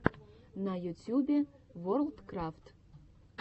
на ютюбе ворлдкрафт